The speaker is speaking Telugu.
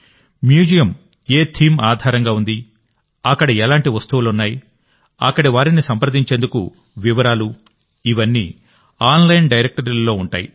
మ్యూజియం ఏ థీమ్ ఆధారంగా ఉంది అక్కడ ఎలాంటి వస్తువులున్నాయి అక్కడి వారిని సంప్రదించేందుకు వివరాలు ఇవన్నీ ఆన్లైన్ డైరెక్టరీలో ఉంటాయి